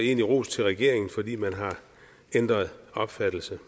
en ros til regeringen fordi man har ændret opfattelse